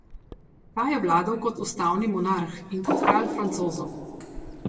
Ta je vladal kot ustavni monarh in kot kralj Francozov.